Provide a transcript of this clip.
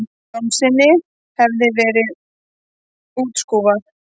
Jónssyni hefði verið útskúfað.